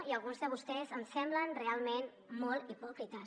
i alguns de vostès em semblen realment molt hipòcrites